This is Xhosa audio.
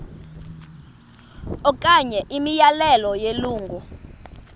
okanye imiyalelo yelungu